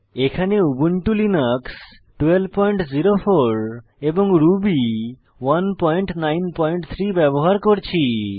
এখানে Ubuntu Linux 1204 এবং Ruby 193 ব্যবহার করছি